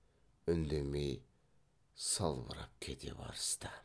үндемей салбырап кете барысты